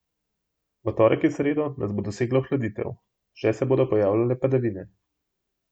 V torek in sredo nas bo dosegla ohladitev, še se bodo pojavljale padavine.